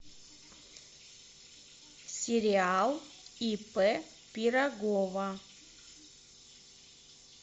сериал ип пирогова